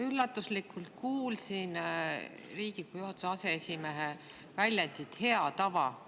Üllatuslikult kuulsin Riigikogu aseesimehe väljendit "hea tava".